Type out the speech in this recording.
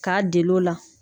K'aa del'ola